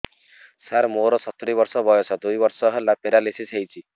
ସାର ମୋର ସତୂରୀ ବର୍ଷ ବୟସ ଦୁଇ ବର୍ଷ ହେଲା ପେରାଲିଶିଶ ହେଇଚି